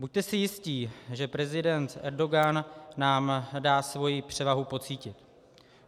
Buďte si jistí, že prezident Erdogan nám dá svoji převahu pocítit.